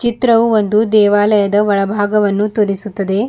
ಚಿತ್ರವು ಒಂದು ದೇವಾಲಯದ ಒಳಭಾಗವನ್ನು ತೋರಿಸುತ್ತದೆ.